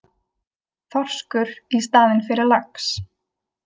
Þorskur í staðinn fyrir lax